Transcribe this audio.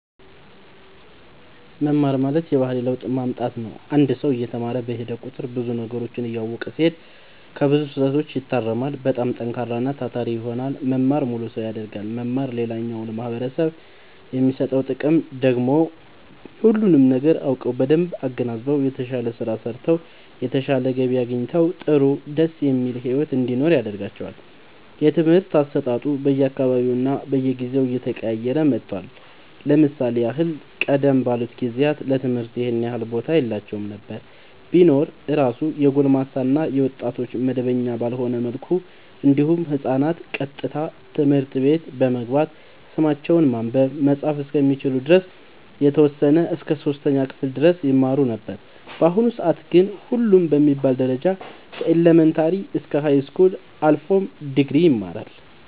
መማር ማለት የባህሪ ለውጥ ማምጣት ነው አንድ ሰው እየተማረ በሄደ ቁጥር ብዙ ነገሮችን እያወቀ ሲሄድ ከብዙ ስህተቶች ይታረማል በጣም ጠንካራና ታታሪ ይሆናል መማር ሙሉ ሰው ያደርጋል መማር ሌላኛው ለማህበረሰቡ የሚሰጠው ጥቅም ደግሞ ሁሉንም ነገር አውቀው በደንብ አገናዝበው የተሻለ ስራ ሰርተው የተሻለ ገቢ አግኝተው ጥሩ ደስ የሚል ሒወት እንዲኖሩ ያደርጋቸዋል። የትምህርት አሰጣጡ በየ አካባቢውና በየጊዜው እየተቀያየረ መጥቷል ለምሳሌ ያህል ቀደም ባሉት ጊዜያት ለትምህርት ይኸን ያህል ቦታ የላቸውም ነበር ቢኖር እራሱ የጎልማሳ እና የወጣቶች መደበኛ ባልሆነ መልኩ እንዲሁም ህፃናት ቀጥታ ትምህርት ቤት በመግባት ስማቸውን ማንበብ መፃፍ እስከሚችሉ ድረስ የተወሰነ እስከ 3ኛ ክፍል ድረስ ይማሩ ነበር በአሁኑ ሰአት ግን ሁሉም በሚባል ደረጃ ከኢለመንታሪ እስከ ሀይስኩል አልፎም ድግሪ ይማራሉ